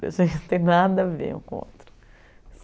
Eles não têm nada a ver com o outro.